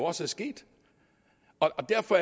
også er sket og derfor